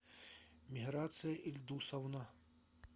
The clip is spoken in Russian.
миграция ильдусовна